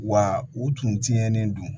Wa u tun tiɲɛnen don